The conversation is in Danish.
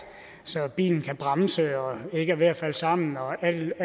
så bilen kan bremse og ikke er ved at falde sammen og alle